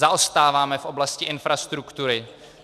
Zaostáváme v oblasti infrastruktury.